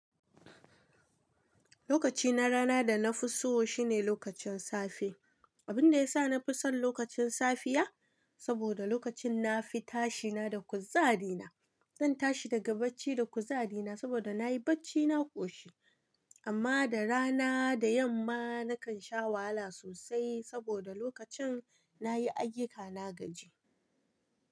Lokaci na rana da na fi so shine lokacin safe. Abin da ya sa na fi son lokacin safiya, saboda lokacin na fi tashi ina da kuzari na. Zan tashi daga bacci da kuzari na saboda na yi bacci na ƙoshi. Amma da rana da yamma na kan sha wahala sosai saboda lokacin na yi ayyuka na gaji.